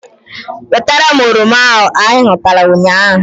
Wetara m oroma ahu anyị ghọtara ụnyaahụ!